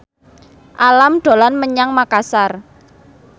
Alam dolan menyang Makasar